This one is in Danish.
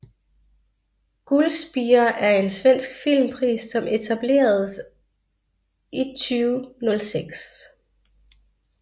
Gullspira er en svensk filmpris som etableredes i 2006